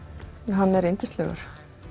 hann er yndislegur